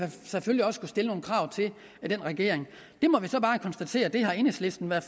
vi selvfølgelig også kunne stille nogle krav til den regering vi må så bare konstatere at enhedslisten har